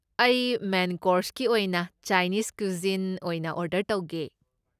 ꯑꯩ ꯃꯦꯟ ꯀꯣꯔꯁꯀꯤ ꯑꯣꯏꯅ ꯆꯥꯏꯅꯤꯁ ꯀꯨꯏꯖꯤꯟ ꯑꯣꯏꯅ ꯑꯣꯔꯗꯔ ꯇꯧꯒꯦ꯫